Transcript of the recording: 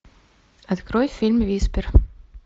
открой фильм виспер